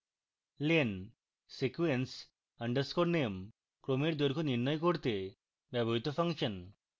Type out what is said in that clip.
len sequence underscore name ক্রমের দৈর্ঘ্য নির্ণয় করতে ব্যবহৃত ফাংশন